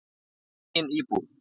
Í eigin íbúð.